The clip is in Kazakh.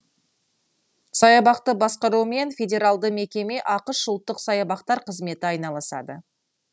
саябақты басқаруымен федералды мекеме ақш ұлттық саябақтар қызметі айналысады